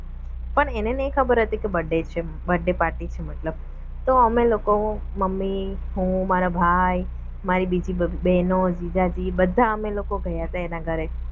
પણ એને નહિ ખબર હતી કે birthday છે birthday party છે મતલબ તો અમે લોકો મમ્મી હું મારો ભાઈ મારી બીજી બહેનો જીજાજી બધા અમે લોકો ગયા હતા એના ઘરે